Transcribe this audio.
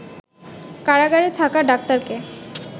কারাগারে থাকা ডাক্তারকে